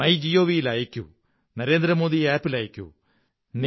my Gavi ൽ അയയ്ക്കൂ Narendra Modi app ൽ അയയ്ക്കൂ